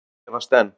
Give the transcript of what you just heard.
Og efast enn.